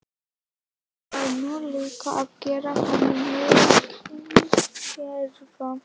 Ég var nú líka að gera honum mikinn greiða.